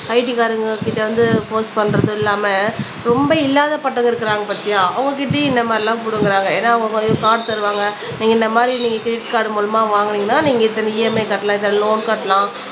IT காரங்ககிட்ட வந்து post பண்றதும் இல்லாம ரொம்ப இல்லாத பட்டவங்க இருக்குறாங்க பாத்தியா அவங்க கிட்டயும் இந்த மாதிரிலாம் புடுங்குறாங்க ஏன்னா அவங்க கார்டு தருவாங்க நீங்க இந்த மாதிரி நீங்க கிரெடிட் கார்டு மூலமா வாங்குனீங்கன்னா நீங்க இத்தனை EMI கட்டலாம் இத்தனை லோன் கட்டலாம்